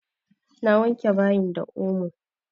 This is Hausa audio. Na wanke bayin da omo.